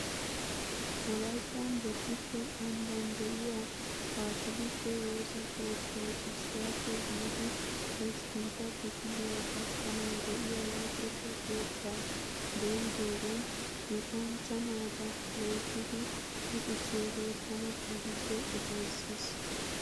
Wolayttan bodditte ambban de'iyaa kaatoolike woosa keettay issuwaappe biidi hosppuntta kifiliyaa gakkanawu de'iyaa luxetta keettaa dooyidoogan luxanchcha naata loyttidi luxissiyoogee tana keehippe ufayssis